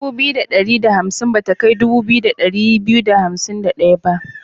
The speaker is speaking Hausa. dubu biyu da ɗari da hansim bata kai dubu biyu da ɗari biyu da hansim da ɗaya ba.